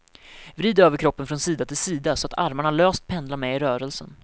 Vrid överkroppen från sida till sida, så att armarna löst pendlar med i rörelsen.